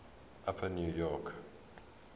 upper new york